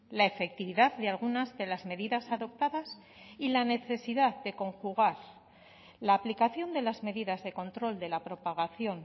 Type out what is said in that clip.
la efectividad de algunas de las medidas adoptadas y la necesidad de conjugar la aplicación de las medidas de control de la propagación